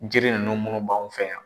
Jiri ninnu munnu b'anw fɛ yan.